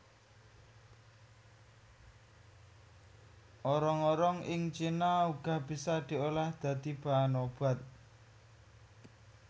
Orong orong ing cina uga bisa diolah dadi bahan obat